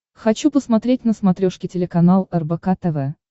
хочу посмотреть на смотрешке телеканал рбк тв